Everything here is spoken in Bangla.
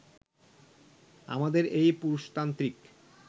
আমাদের এই পুরুষতান্ত্রিক